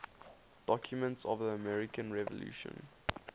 documents of the american revolution